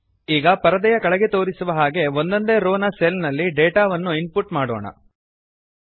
ಈಗ ಪರದೆಯ ಕೆಳಗೆ ತೋರಿಸುವ ಹಾಗೆ ಒಂದೊಂದೇ ರೋ ನ ಸೆಲ್ ನಲ್ಲಿ ಡೇಟಾ ಅನ್ನು ಇನ್ ಪುಟ್ ಮಾಡೋಣ